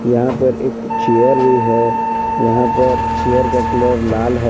यहां पर एक चेयर भी है यहां पर चेयर का कलर लाल है।